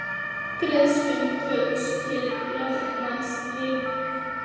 Greiðslum Baugs til lögmanns rift